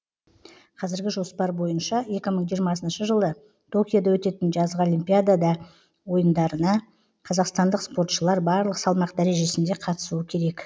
қазіргі жоспар бойынша екі мың жиырмасыншы жылы токиода өтетін жазғы олимпиада ойындарына қазақстандық спортшылар барлық салмақ дәрежесінде қатысуы керек